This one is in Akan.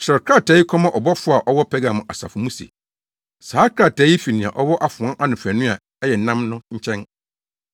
“Kyerɛw krataa yi kɔma ɔbɔfo a ɔwɔ Pergamo asafo mu se: Saa krataa yi fi nea ɔwɔ afoa anofanu a ɛyɛ nnam no nkyɛn.